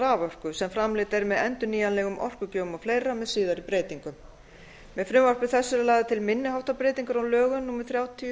raforku sem framleidd er með endurnýjanlegum orkugjöfum o fl með síðari breytingum með frumvarpi þessu eru lagðar til breytingar á lögum númer þrjátíu